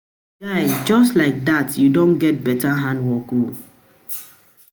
My guy just like like dat you don get beta handwork oo